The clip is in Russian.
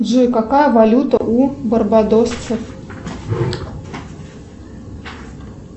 джой какая валюта у барбадосцев